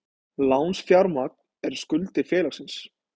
Lánsfjármagn er skuldir félagsins.